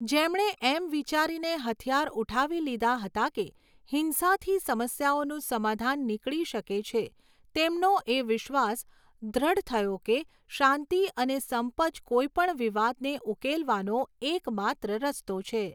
જેમણે એમ વિચારીને હથિયાર ઊઠાવી લીધા હતા કે હિંસાથી સમસ્યાઓનું સમાધાન નીકળી શકે છે, તેમનો એ વિશ્વાસ દૃઢ થયો છે કે શાંતિ અને સંપ જ કોઈ પણ વિવાદને ઉકેલવાનો એક માત્ર રસ્તો છે.